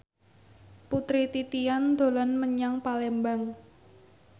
Putri Titian dolan menyang Palembang